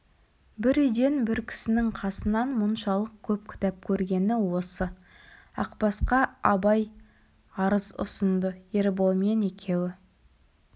бір үйден бір кісінің қасынан мұншалық көп кітап көргені осы ақбасқа абай арыз ұсынды ерболмен екеуі